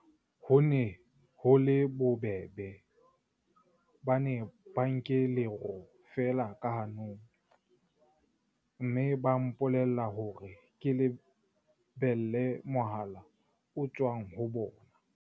Ho ne ho le bobebe, ba ne ba nke lero feela ka hanong, mme ba mpolella hore ke lebelle mohala o tswang ho bona.